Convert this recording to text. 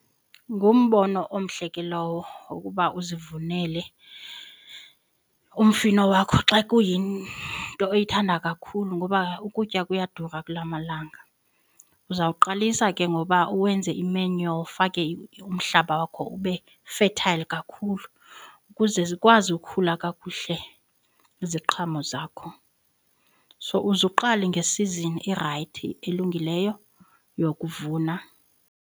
Ngumbono omhle ke lowo wokuba uzivunele umfino wakho xa kuyinto oyithanda kakhulu ngoba ukutya kuyadura kulaa malanga. Uzawuqalisa ke ngoba uwenze imenyo ufake umhlaba wakho ube fertile kakhulu ukuze zikwazi ukukhula kakuhle iziqhamo zakho. So uzuqale ngesizini erayithi elungileyo yokuvuna.